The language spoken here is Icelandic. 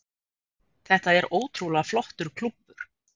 Þetta er ótrúlega flottur klúbbur.